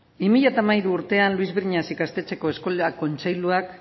bi mila hamairu urtean luis briñas ikastetxeko eskola kontseiluak